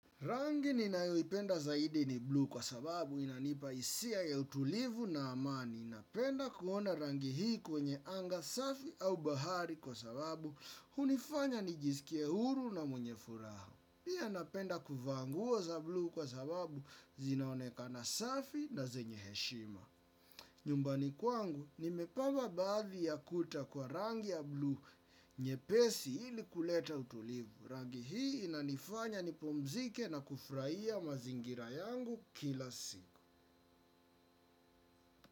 Rangi ninayoipenda zaidi ni blue kwa sababu inanipa hisia ya utulivu na amani. Napenda kuona rangi hii kwenye anga safi au bahari kwa sababu hunifanya nijisikie huru na mwenye furaha. Pia napenda kuvaa nguo za blue kwa sababu zinaonekana safi na zenye heshima. Nyumbani kwangu, nimepaka baadhi ya kuta kwa rangi ya blue nyepesi ili kuleta utulivu. Rangi hii inanifanya nipumzike na kufurahia mazingira yangu kila siku.